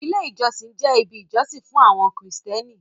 Ilé ìjọsìn jẹ́ ibi ìjọsìn fún àwọn krìstẹ́nì.